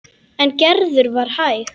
En Gerður var hæg.